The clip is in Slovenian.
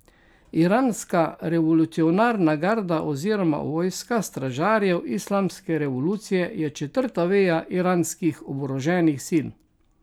Iranska revolucionarna garda oziroma vojska stražarjev islamske revolucije je četrta veja iranskih oboroženih sil.